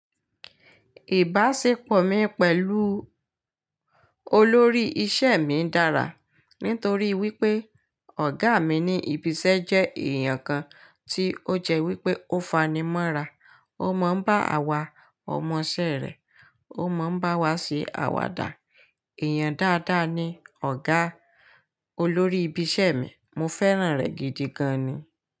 Ìbáṣepọ̀ mi pẹ̀lú olórí iṣẹ́ mi dára nítorí wípé ọ̀gá mi ní ibi iṣẹ́ jẹ́ èèyàn kan tí ó jẹ́ wípé ó fani mọ́ra, ó mọ bá àwa ọmọṣẹ́ rẹ̀, ó mọ bá wa ṣe àwàdà. Èèyàn dáadáa ni ọ̀gá olórí ibi iṣẹ́ mi, mo fẹ́ràn rẹ̀ gidi gan ni.